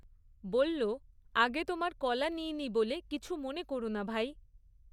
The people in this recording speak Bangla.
বলল, আগে তোমার কলা নিইনি বলে কিছু মনে কোরো না ভাই।